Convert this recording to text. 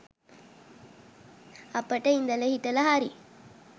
අපිට ඉදල හිටල හරි